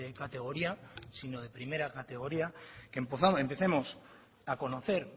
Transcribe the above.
categoría sino de primera categoría que empecemos a conocer